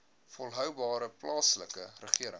volhoubare plaaslike regering